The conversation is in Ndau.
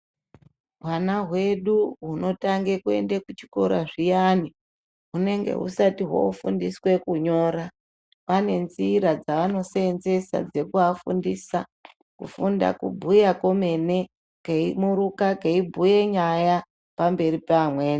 Hwana hwedu hwunotange kuenda kuchikora zviyani hwunenge hwusati hwofundiswe kunyora pane nzira dzavanosevenzesa dzokuvafundisa kufunda kubhuya kwemene keimuruka keibhuya nyaya pamberi pevamweni